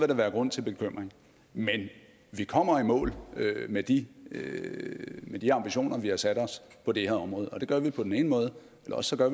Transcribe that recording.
der være grund til bekymring men vi kommer i mål med de med de ambitioner vi har sat os på det her område og det gør vi enten på den ene måde eller også gør